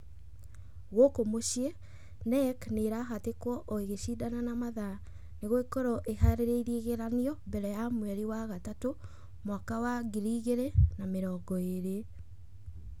Gũkũ mũciĩ, Knec nĩ ĩrahatĩkwo o ĩgĩcindanaga na mathaa nĩguo ĩkorwo ĩhaarĩirie igeranio mbere ya mweri wa gatatũ mwaka wa ngiri igĩrĩ na mĩrongo ĩrĩ.